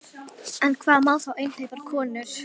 En hvað þá með einhleypar konur?